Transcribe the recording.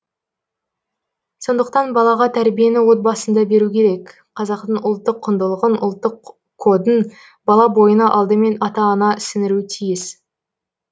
сондықтан балаға тәрбиені отбасында беру керек қазақтың ұлттық құндылығын ұлттық кодын бала бойына алдымен ата ана сіңіруі тиіс